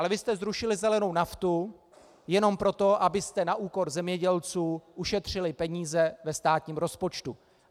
Ale vy jste zrušili zelenou naftu jenom proto, abyste na úkor zemědělců ušetřili peníze ve státním rozpočtu.